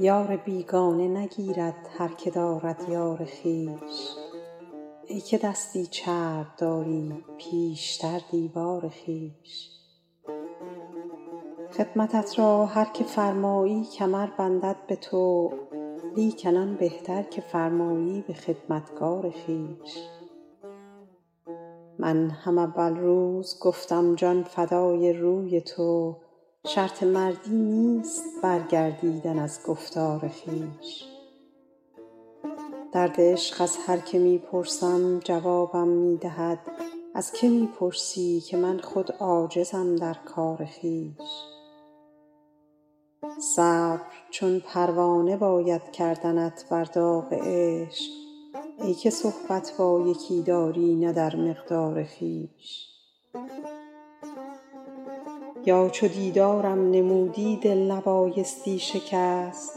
یار بیگانه نگیرد هر که دارد یار خویش ای که دستی چرب داری پیشتر دیوار خویش خدمتت را هر که فرمایی کمر بندد به طوع لیکن آن بهتر که فرمایی به خدمتگار خویش من هم اول روز گفتم جان فدای روی تو شرط مردی نیست برگردیدن از گفتار خویش درد عشق از هر که می پرسم جوابم می دهد از که می پرسی که من خود عاجزم در کار خویش صبر چون پروانه باید کردنت بر داغ عشق ای که صحبت با یکی داری نه در مقدار خویش یا چو دیدارم نمودی دل نبایستی شکست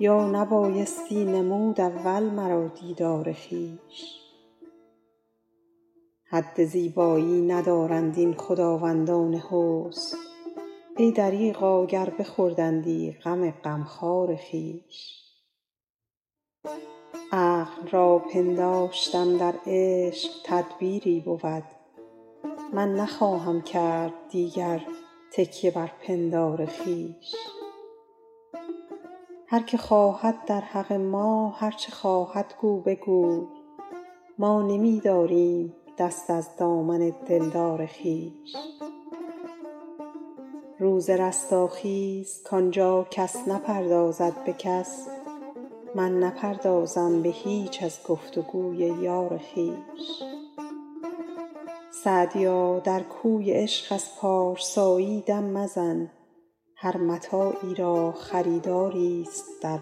یا نبایستی نمود اول مرا دیدار خویش حد زیبایی ندارند این خداوندان حسن ای دریغا گر بخوردندی غم غمخوار خویش عقل را پنداشتم در عشق تدبیری بود من نخواهم کرد دیگر تکیه بر پندار خویش هر که خواهد در حق ما هر چه خواهد گو بگوی ما نمی داریم دست از دامن دلدار خویش روز رستاخیز کان جا کس نپردازد به کس من نپردازم به هیچ از گفت و گوی یار خویش سعدیا در کوی عشق از پارسایی دم مزن هر متاعی را خریداریست در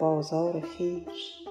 بازار خویش